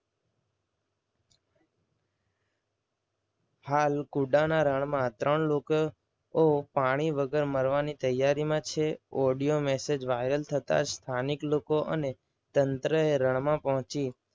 હાલ કુડાના રણમાં ત્રણ લોકો પાણી વગર મરવાની તૈયારીમાં છ. audio massage viral થતા જ સ્થાનિક લોકો અને તંત્ર એ રણમાં પહોંચી